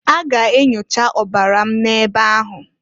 A ga enyocha ọbara m n'ebe ahụ.